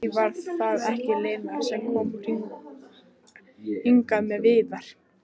Því var það ekki Lena sem kom hingað með Viðar?